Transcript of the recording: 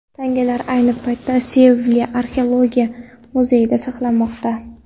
Tangalar ayni paytda Sevilya Arxeologiya muzeyida saqlanmoqda.